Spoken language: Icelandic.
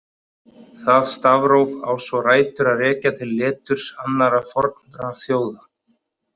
Það stafróf á svo rætur að rekja til leturs annarra fornra þjóða.